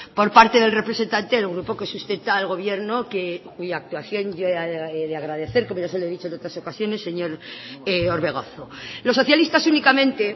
por parte del representante del grupo que sustenta el gobierno cuya actuación yo he de agradecer como se lo he dicho en otras ocasiones señor orbegozo los socialistas únicamente